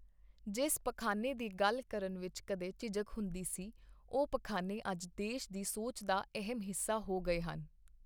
ਜਿਸ ਪਖਾਨੇ ਦੀ ਗੱਲ ਕਰਨ ਵਿੱਚ ਕਦੇ ਝਿਝਕ ਹੁੰਦੀ ਸੀ, ਉਹ ਪਖਾਨੇ ਅੱਜ ਦੇਸ਼ ਦੀ ਸੋਚ ਦਾ ਅਹਿਮ ਹਿੱਸਾ ਹੋ ਗਏ ਹਨ।